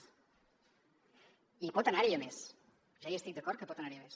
i pot anar hi a més ja hi estic d’acord que pot anar hi a més